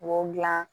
Wo dilan